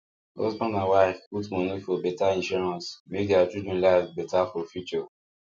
husband and wife put money for better insurance make their children life better for future